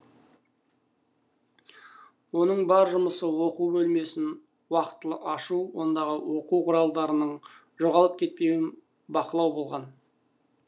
оның бар жұмысы оқу бөлмесін уақтылы ашу ондағы оқу құралдарының жоғалып кетпеуін бақылау болатын